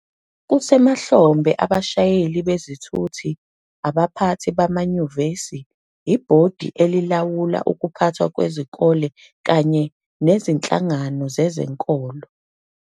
Kusemahlombe abashayeli bezithuthi, abaphathi bamanyuvesi, ibhodi elilawula ukuphathwa kwesikole kanye nezinhlangano zezenkolo